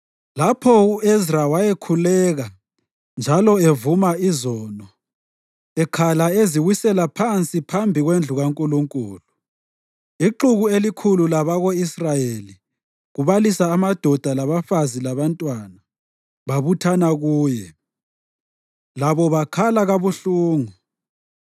Lapho u-Ezra wayekhuleka njalo evuma izono, ekhala eziwisela phansi phambi kwendlu kaNkulunkulu, ixuku elikhulu labako-Israyeli kubalisa amadoda labafazi labantwana, babuthana kuye. Labo bakhala kabuhlungu.